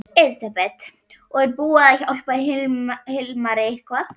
Elísabet: Og er búið að hjálpa Hilmari eitthvað?